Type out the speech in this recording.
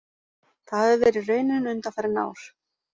Það hafi verið raunin undanfarin ár